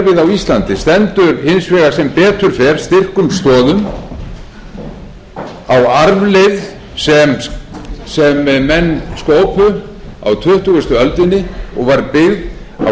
íslandi stendur hins vegar sem betur fer styrkum stoðum á arfleifð sem menn skópu á tuttugustu öldinni og var byggð á